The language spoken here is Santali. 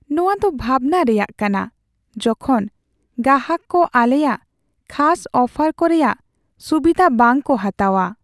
ᱱᱚᱶᱟ ᱫᱚ ᱵᱷᱟᱵᱽᱱᱟ ᱨᱮᱭᱟᱜ ᱠᱟᱱᱟ ᱡᱚᱠᱷᱚᱱ ᱜᱟᱦᱟᱠ ᱠᱚ ᱟᱞᱮᱭᱟᱜ ᱠᱷᱟᱥ ᱚᱯᱷᱟᱨᱠᱚ ᱨᱮᱭᱟᱜ ᱥᱩᱵᱤᱫᱷᱟ ᱵᱟᱝᱠᱚ ᱦᱟᱛᱟᱣᱟ ᱾